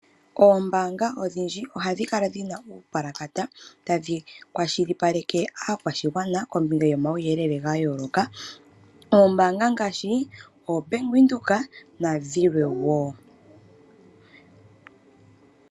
Oombanga odhindji ohadhi kala dhina uupulakata tadhi kwashilipaleke aakwashigwana kombiga yo omawuyelele ga yooloka. Oombanga ngaashi Bank Windhoek nadhilwe woo.